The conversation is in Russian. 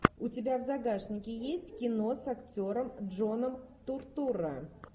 у тебя в загашнике есть кино с актером джоном туртурро